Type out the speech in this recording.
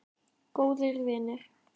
Góðir vinir.